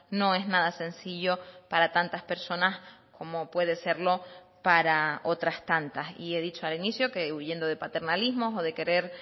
no es nada sencillo para tantas personas como puede serlo para otras tantas y he dicho al inicio que huyendo de paternalismos o de querer